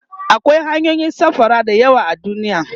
akwai hanyoyin safara da yawa a duniya